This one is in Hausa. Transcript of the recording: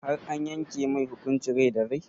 Har an yanke mai hukuncin rai da rai?